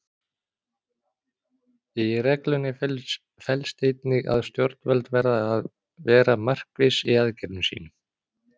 Í reglunni felst einnig að stjórnvöld verða að vera markviss í aðgerðum sínum.